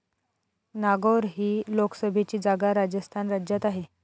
नागौर ही लोकसभेची जागा राजस्थान राज्यात आहे.